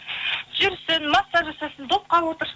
жүрсін массаж жасасын допқа отырсын